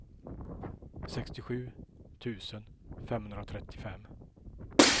sextiosju tusen femhundratrettiofem